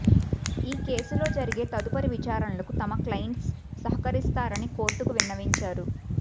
ఈ కేసులో జరిగే తదుపరి విచారణలకు తమ క్లయింట్స్ సహకరిస్తారని కోర్టుకు విన్నవించారు